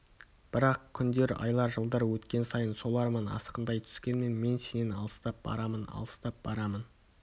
бірақ күндер айлар жылдар өткен сайын сол арман асқындай түскенмен мен сенен алыстап барамын алыстап барамын